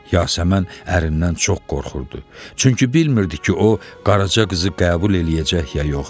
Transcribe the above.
Yasəmən ərindən çox qorxurdu, çünki bilmirdi ki, o Qaraca qızı qəbul eləyəcək ya yox.